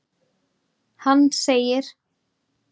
Hann segir:.